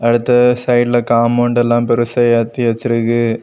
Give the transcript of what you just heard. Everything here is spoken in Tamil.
அடுத்து சைடுல காம்பவுண்ட் எல்லாம் பெருசா ஏத்தி வச்சுருக்கு.